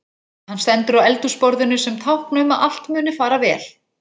Hann stendur á eldhúsborðinu sem tákn um að allt muni fara vel.